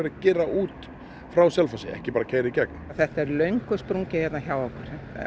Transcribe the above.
gera út frá Selfossi en ekki bara keyra í gegn þetta er löngu sprungið hérna hjá okkur